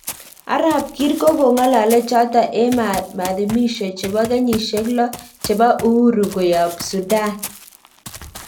Arap kiir ko kongalale chato en madhimisho chepo kenyisiek lo chepo uhuru koyap sudan